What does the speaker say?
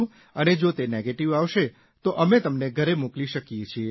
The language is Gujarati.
અને જો તે નેગેટીવ આવશે તો અમે તમને ઘરે મોકલી શકીએ છીએ